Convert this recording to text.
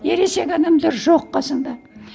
ересек адамдар жоқ қасыңда